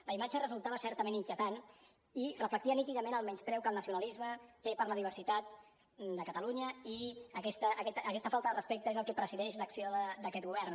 la imatge resultava certament inquietant i reflectia nítidament el menyspreu que el nacionalisme té per la diversitat de catalunya i aquesta falta de respecte és el que presideix l’acció d’aquest govern